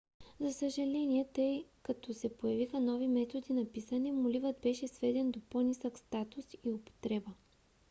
за съжаление тъй като се появиха нови методи на писане моливът беше сведен до по - нисък статус и употреба